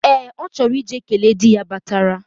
Ee, ochoro ije kele di ya batara.